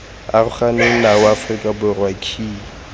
aroganeng nao aforika borwa key